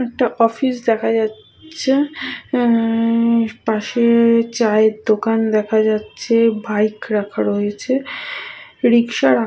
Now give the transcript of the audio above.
একটা অফিস দেখা যাচ-ছে আ-আ পাশে-এ চায়ের দোকান দেখা যাচ্ছে বাইক রাখা রয়েছে রিক্সা রাখা --